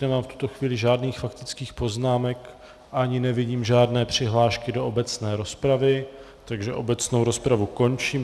Nemám v tuto chvíli žádných faktických poznámek ani nevidím žádné přihlášky do obecné rozpravy, takže obecnou rozpravu končím.